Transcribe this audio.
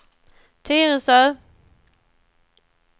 Tyresö